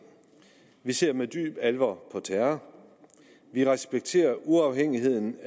vi ser med dyb alvor på terror vi respekterer uafhængigheden